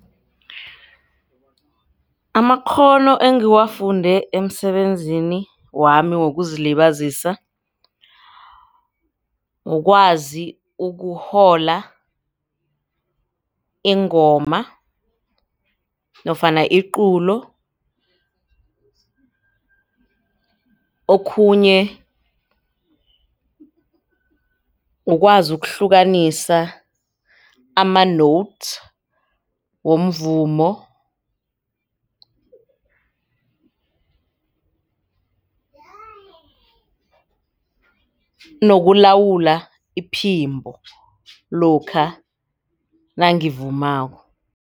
Amakghono engiwafunde emsebenzini wami wokuzilibazisa kukwazi ukuhola ingoma nofana iculo okhunye ukwazi ukuhlukanisa ama-notes womvumo nokulawula iphimbo lokha nangivumako.